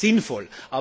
Das ist sinnvoll.